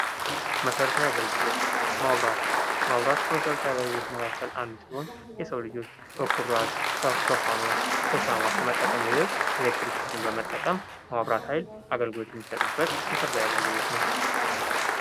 መሰረታዊ አገልግሎት መብራት። መብራት ከመሰረታዊ አገልግሎት አንዱ ሲሆን የሰው ልጆች በኩራዝ ፣በፋኖስ ፣በሻማ ከመጠቀም ይልቅ ኤሌክትሪክሲቲን በመጠቀም የመብራት ኃይል አገልግሎት የሚሰጥበት መሰረታዊ አገልግሎት ነው።